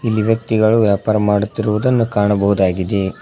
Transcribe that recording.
ಇಲ್ಲಿ ವ್ಯಕ್ತಿಗಳು ವ್ಯಾಪಾರ ಮಾಡುತ್ತಿರುವುದನ್ನು ಕಾಣಬಹುದಾಗಿದೆ.